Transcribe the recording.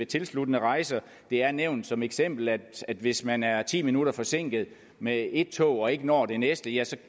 tilsluttende rejser det er nævnt som eksempel at hvis man er ti minutter forsinket med et tog og ikke når det næste ja